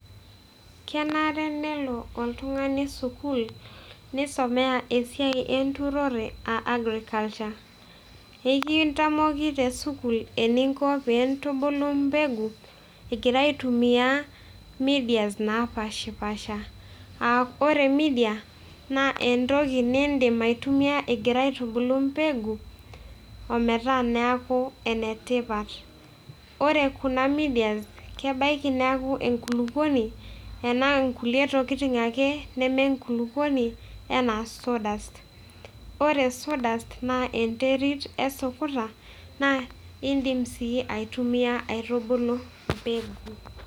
Kenare nelo oltung'ani sukuul, neisomea esiai enturore, aa agriculture. Ekintamoki tesukuul eninko pee intubulu mbegu egirai aitumia medias naapaashipaasha. Aa ore media, aa ore media naa entoki niindim aitumia ingira aitubulu mbegu ometaa neeku enetipat. Ore kuna medias kebaiki neaku enkulukuoni, enaa inkulie tokitin ake nemenkulukuoni enaa saw dust. Ore saw dust naa enterit esukuta, naa iindim sii aitumia aitubulu mbegu